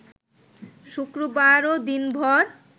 শুক্রবারও দিনভর